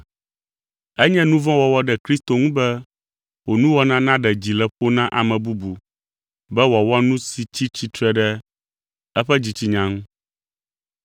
Enye nu vɔ̃ wɔwɔ ɖe Kristo ŋu be wò nuwɔna naɖe dzi le ƒo na ame bubu be wòawɔ nu si tsi tsitre ɖe eƒe dzitsinya ŋu.